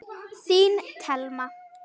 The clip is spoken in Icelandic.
Þín Thelma.